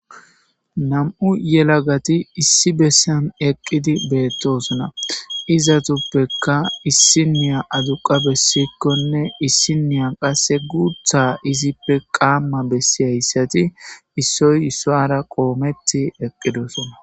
nam'u yelagati issi bessan eqqidi beettosona izatuppekka issiniya aduqa bessikkonne issiniya qase guutha izippe qaamma bessi hayssati issoy issoara qoometti eqqidosona